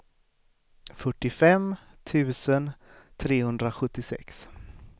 fyrtiofem tusen trehundrasjuttiosex